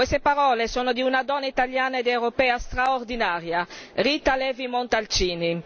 Queste parole sono di una donna italiana ed europea straordinaria, Rita Levi Montalcini.